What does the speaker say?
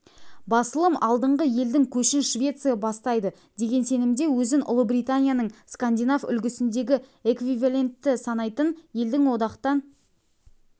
басылым алдыңғы елдің көшін швеция бастайды деген сенімде өзін ұлыбританияның скандинав үлгісіндегі эквиваленті санайтын елдің одақтан